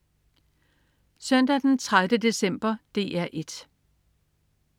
Søndag den 30. december - DR 1: